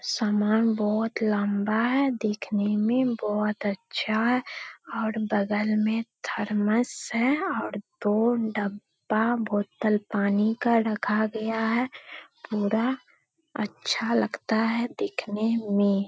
सामन बहुत लम्बा है देखने में बहोत अच्छा है और बगल में थरमस और दो डब्बा बोटल पानी का रखा गया है पूरा अच्छा लगता है देखने मे --